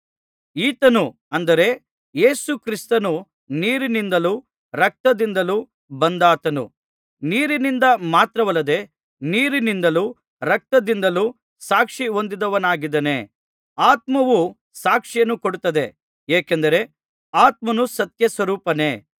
ಈತನು ಅಂದರೆ ಯೇಸು ಕ್ರಿಸ್ತನು ನೀರಿನಿಂದಲೂ ರಕ್ತದಿಂದಲೂ ಬಂದಾತನು ನೀರಿನಿಂದ ಮಾತ್ರವಲ್ಲದೆ ನೀರಿನಿಂದಲೂ ರಕ್ತದಿಂದಲೂ ಸಾಕ್ಷಿ ಹೊಂದಿದವನಾಗಿದ್ದಾನೆ ಆತ್ಮವು ಸಾಕ್ಷಿಯನ್ನು ಕೊಡುತ್ತದೆ ಏಕೆಂದರೆ ಆತ್ಮನು ಸತ್ಯಸ್ವರೂಪನೇ